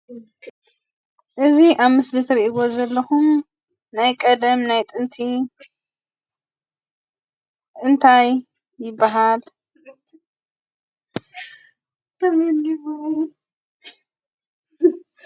እዚ ኣብ ምስሊ እትሪእዎ ዘለኹም ናይ ቀደም ናይ ጥንቲ እንታይ ይብሃል?